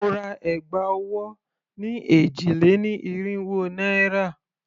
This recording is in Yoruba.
Mo ra ẹ̀gbà ọwọ́ ni èjì-lé-ní-irínwó naira.